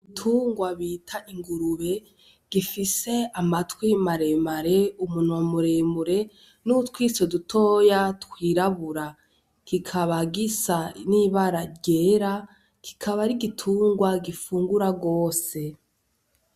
Igitungwa bita ingurube gifise amatwi mare mare, umunwa muremure nutwiso dutoya twirabura kikaba gisa n'ibara ryera kikaba ari igitungwa gifungura gose.